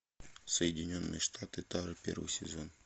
соединенные штаты тары первый сезон